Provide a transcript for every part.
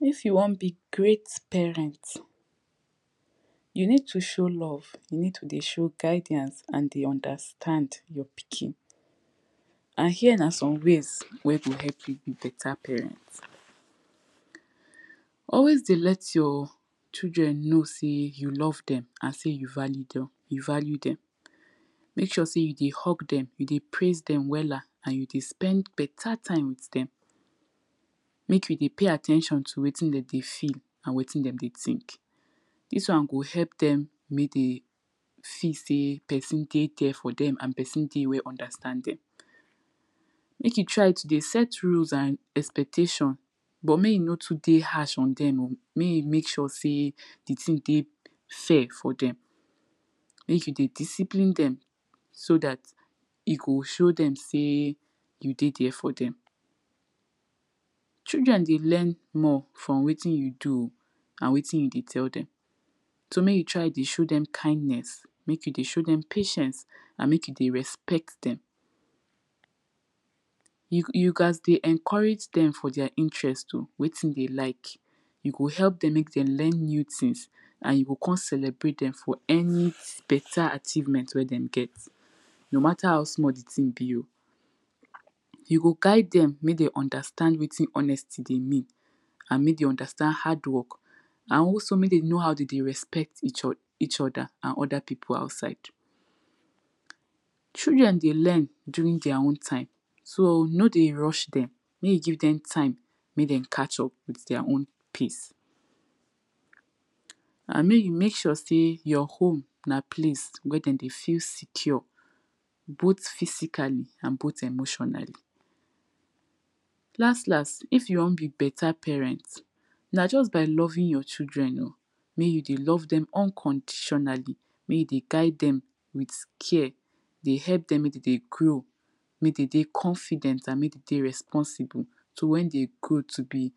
if you wan b great parent, you need to show love, you need to dey show guidiance and dey understand your pikin and here na some ways wey go help yu be beta parent. always dey et your children know sey you love dem and sey you value dem mek sure sey you dey hug dem, ou dey praise dem wella and you dey spend beta time with dem, mek you deypay at ten tion wit wetin dem dey feel and wetin dem dey think. dis wan go help dem mek de feel sey pesin dey there for dem and pesin dey wey go understand dem. mek you try to dey set rules and expectation, but mek you no too dey harsh o dem oh, mey you mek sure sey di thing dey fair for dem mek you dey discipline dem so dat you go show dem sey you dey there for dem. children dey learn more from wetin you do and wetin you dey tell dem so mek you tyr dey show dem kindnes, and dey show dem patience and dey respect dem you gats dey encourage dem for their intgerest oh wetin den like you go help dem mek den learn new things and you o kon celebrate dem for any beta achievement wey den get. no mata how small di tin be oh. you go guide dem mek dem understand wetin honesty mean oh and mek dem understand hard work and also mek dem know how de dey respect eachother and other pipu outside. children dey learn dring their own time so no dey rush dem, mek you give dem time mek dem catch up with their own pace and mek you mek sure sey our home na place wey de dey feel secure both physically and both emotionally. las las, if you want be beta parent, na jus by loving your children mek you dey love dem unconditionally mek you dey guide dem with care e dey elp dem mek dem dey grow, mek de dey confident and mek de dey responsible s wen de grow to be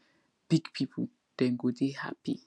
big pipu, den go dey happy.